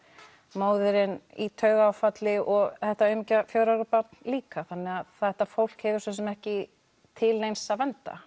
móðirin í taugaáfalli og þetta aumingja fjögurra ára barn líka þannig þetta fólk hefur svo sem ekki til neins að venda